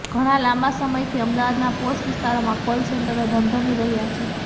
ઘણા લાંબા સમયથી અમદાવાદના પોશ વિસ્તારોમાં કોલ સેન્ટરો ધમધમી રહ્યા છે